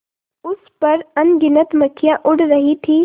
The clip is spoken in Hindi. उस पर अनगिनत मक्खियाँ उड़ रही थीं